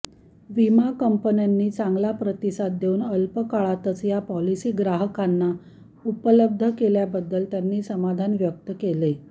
विमा कंपन्यानी चांगला प्रतिसाद देऊन अल्पकाळातच या पॉलिसी ग्राहकांना उपलब्ध केल्याबद्दल त्यांनी समाधान व्यक्त केले